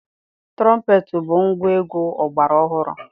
Tụrọmpeetị bụ ngwaegwu ọgbara ọhụrụ.